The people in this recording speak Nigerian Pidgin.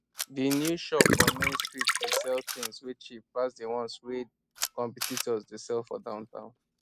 di new shop for main street dey sell things wey cheap pass di ones wey competitors dey sell for downtown